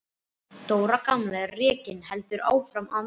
Dóra gamla rekin en heldur áfram að mæta.